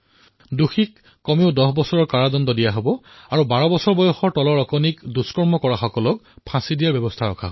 দুষ্কৰ্মৰ দোষীসকলৰ অতিকমেও ১০ বছৰৰ শাস্তি হব ১২ বৰ্ষতকৈ কম বয়সৰ কন্যাক ধৰ্ষণ কৰিলে ফাঁচী দিয়া হব